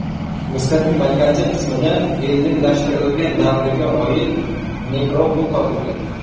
Misrning markaziy qismida ellinlashtirish davriga oid nekropol topildi.